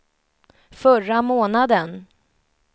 förra månaden